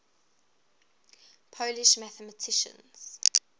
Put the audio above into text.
polish mathematicians